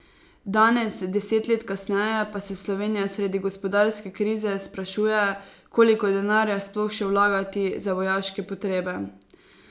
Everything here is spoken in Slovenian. Danes, deset let kasneje, pa se Slovenija sredi gospodarske krize sprašuje, koliko denarja sploh še vlagati za vojaške potrebe.